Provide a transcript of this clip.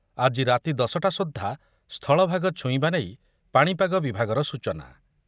ଆଜି ରାତି ଦଶ ଟା ସୁଦ୍ଧା ସ୍ଥଳଭାଗ ଛୁଇଁବା ନେଇ ପାଣିପାଗ ବିଭାଗର ସୂଚନା ।